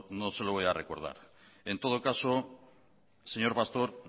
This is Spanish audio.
no se lo voy a recordar en todo caso señor pastor